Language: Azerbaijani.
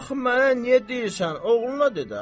"Axı mənə niyə deyirsən, oğluna de də.